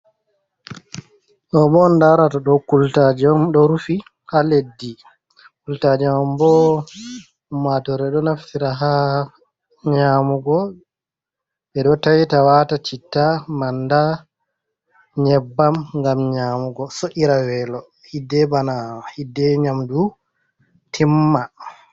Ɗoo bo on ndaarata ɗoo, kultaaje on ɗo rufi ha leddi. Kultaaje man bo ummatoore ɗo naftira ha nyaamugo, ɓe ɗo tayta waata citta, manda, nyebbam, ngam nyaamugo so’'ira weelo hiddee bana, hiddee nyaamdu timma.